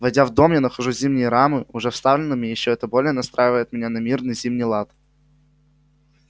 войдя в дом я нахожу зимние рамы уже вставленными и это ещё более настраивает меня на мирный зимний лад